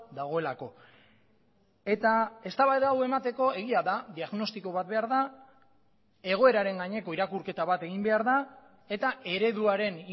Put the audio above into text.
dagoelako eta eztabaida hau emateko egia da diagnostiko bat behar da egoeraren gaineko irakurketa bat egin behar da eta ereduaren